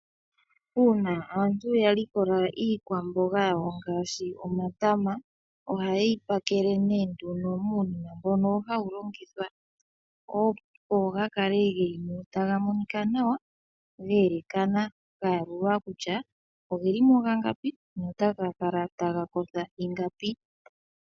Uuna aantu ya likola iikwamboga yawo ngaashi omatama ohaye yi pakele ne nduno muunima mbono hawu longithwa opo ga kale geli mo nawa, taga monika nawa, geelekana, gayalulwa kutya ogeli mo gangapi notaga kala taga kosha ingapi.